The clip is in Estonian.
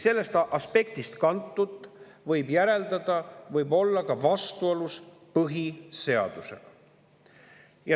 Sellest aspektist kantult võib järeldada, et see võib olla ka vastuolus põhiseadusega.